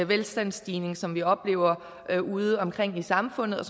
velstandsstigning som vi oplever udeomkring i samfundet